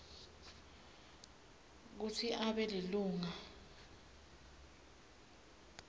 kutsi abe lilunga